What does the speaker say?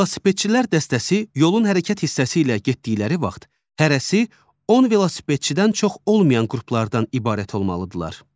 Velosipedçilər dəstəsi yolun hərəkət hissəsi ilə getdikləri vaxt hərəsi 10 velosipedçidən çox olmayan qruplardan ibarət olmalıdırlar.